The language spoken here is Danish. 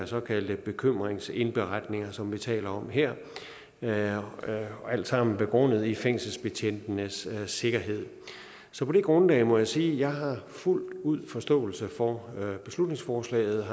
såkaldte bekymringsindberetninger som vi taler om her her alt sammen begrundet i fængselsbetjentenes sikkerhed så på det grundlag må jeg sige at jeg fuldt ud har forståelse for beslutningsforslaget